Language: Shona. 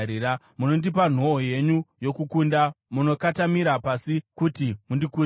Munondipa nhoo yenyu yokukunda, munokotamira pasi kuti mundikurise.